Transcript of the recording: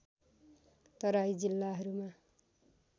तराई जिल्लाहरूमा